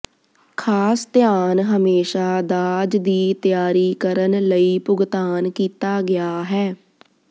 ਖਾਸ ਧਿਆਨ ਹਮੇਸ਼ਾ ਦਾਜ ਦੀ ਤਿਆਰੀ ਕਰਨ ਲਈ ਭੁਗਤਾਨ ਕੀਤਾ ਗਿਆ ਹੈ